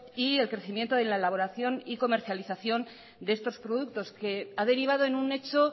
y el crecimiento en la elaboración y comercialización de estos productos que ha derivado en un hecho